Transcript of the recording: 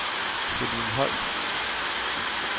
Celine Holdt